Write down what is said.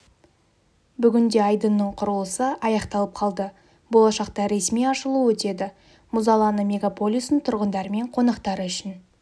бүгінде айдынның құрылысы аяқталып қалды болашақта ресми ашылу өтеді мұз алаңы мегаполистің тұрғындары мен қонақтары үшін